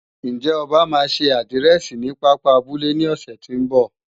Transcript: Ǹjẹ́ Ọba máa ṣe àdírẹ̀sì ní pápá abúlé ní ọ̀sẹ̀ tí ń bọ̀?